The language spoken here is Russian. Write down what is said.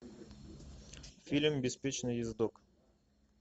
фильм беспечный ездок